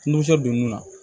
dongun na